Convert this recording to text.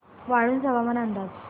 वाळूंज हवामान अंदाज